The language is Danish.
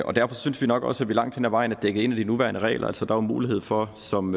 og derfor synes vi nok også at vi langt hen ad vejen er dækket ind af de nuværende regler altså der jo mulighed for som